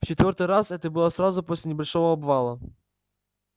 в четвёртый раз это было сразу после небольшого обвала